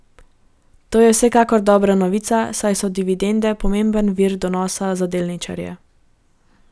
To je vsekakor dobra novica, saj so dividende pomemben vir donosa za delničarje.